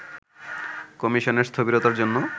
কমিশনের স্থবিরতার জন্য